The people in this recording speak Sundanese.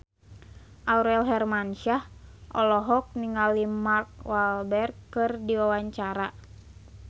Aurel Hermansyah olohok ningali Mark Walberg keur diwawancara